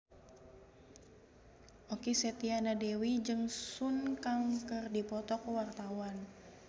Okky Setiana Dewi jeung Sun Kang keur dipoto ku wartawan